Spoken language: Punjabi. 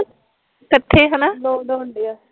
ਕਲੋਸੇ ਹੋਣ ਡਏ ਐ